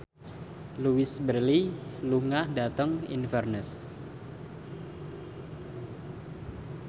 Louise Brealey lunga dhateng Inverness